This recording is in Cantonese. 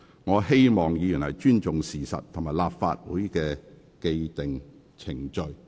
我希望議員尊重事實及立法會的既定機制。